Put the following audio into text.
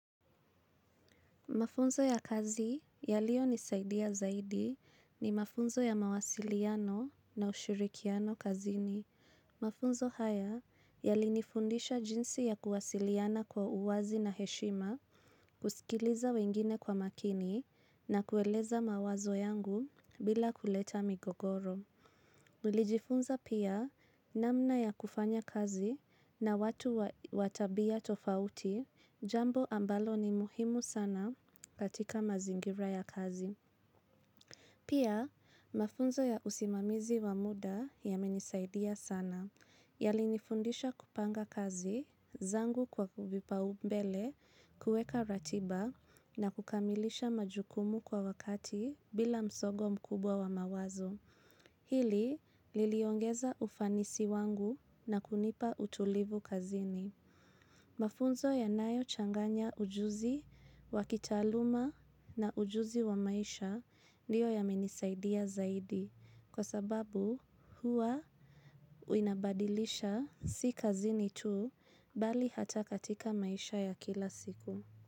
Mafunzo ya kazi yaliyo nisaidia zaidi ni mafunzo ya mawasiliano na ushirikiano kazini. Mafunzo haya yalinifundisha jinsi ya kuwasiliana kwa uwazi na heshima, kusikiliza wengine kwa makini na kueleza mawazo yangu bila kuleta migogoro. Nilijifunza pia namna ya kufanya kazi na watu wa tabia tofauti jambo ambalo ni muhimu sana katika mazingira ya kazi. Pia mafunzo ya usimamizi wa muda yamenisaidia sana. Yali nifundisha kupanga kazi, zangu kwa kuvipa umbele, kueka ratiba na kukamilisha majukumu kwa wakati bila msongo mkubwa wa mawazo. Hili liliongeza ufanisi wangu na kunipa utulivu kazini. Mafunzo yanayo changanya ujuzi, wakitaaluma na ujuzi wa maisha ndiyo yamenisaidia zaidi. Kwa sababu huwa inabadilisha si kazini tu bali hata katika maisha ya kila siku.